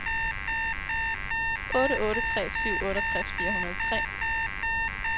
otte otte tre syv otteogtres fire hundrede og tre